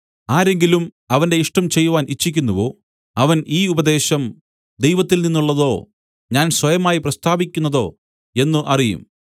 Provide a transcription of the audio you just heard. ആരെങ്കിലും അവന്റെ ഇഷ്ടം ചെയ്‌വാൻ ഇച്ഛിക്കുന്നുവോ അവൻ ഈ ഉപദേശം ദൈവത്തിൽനിന്നുള്ളതോ ഞാൻ സ്വയമായി പ്രസ്താവിക്കുന്നതോ എന്നു അറിയും